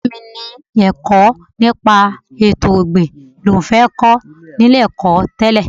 Ọ̀rẹ́ mi ni ẹ̀kọ́ nípa ètò ọ̀gbìn ni òun fẹ́ kọ́ ní ilé-ẹ̀kọ́ tẹ́lẹ̀